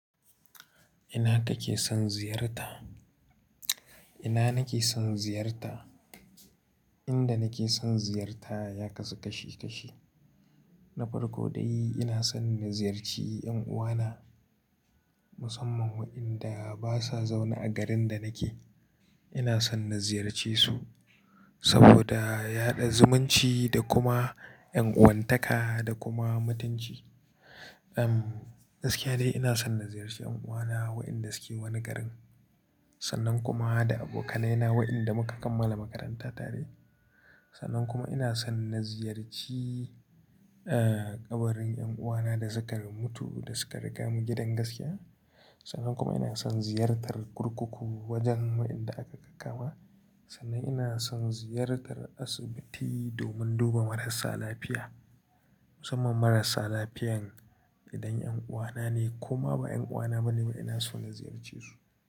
Ina kake son ziyarta? Ina nake son ziyarta, inda nake son ziyarta ya kasu kashi kashi. Na farko dai ina son na ziyarci 'yan uwana musamman wayanda ba su a zaune a garin da nake. Ina son na ziyarce su saboda yaɗa zumunci da kuma ƴan'uwantaka da kuma mutunci. Um, gaskiya dai ina son na ziyarci 'yan uwana waɗanda suke wani garin. Sannan kuma da abokanaina waɗanda muka kammala makaranta tare. Sannan kuma ina son na ziyarci, eh, ƙabarin 'yan uwana da suka mutu da suka riga mu gidan gaskiya. Sannan kuma ina son ziyartar kurkuku wajen waɗanda aka kakkama. Sannan ina son ziyartar asibiti domin duba marasa lafiya. Musamman marasa lafiyan idan 'yan uwana ne koma ba 'yan uwana bane ba ina son na ziyarce su.